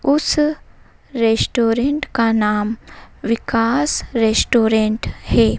उस रेस्टोरेंट का नाम विकास रेस्टोरेंट है।